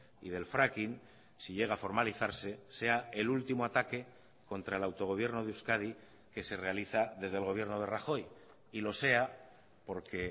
y del fracking si llega a formalizarse sea el último ataque contra el autogobierno de euskadi que se realiza desde el gobierno de rajoy y lo sea porque